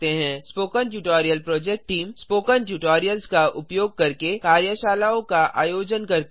spoken tutorial project team spoken tutorials का उपयोग करके कार्यशालाओं का आयोजन करती है